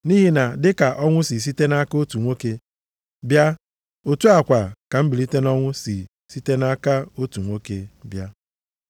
Nʼihi na dịka ọnwụ si site nʼaka otu nwoke bịa, otu a kwa ka mbilite nʼọnwụ si site nʼaka otu nwoke bịa.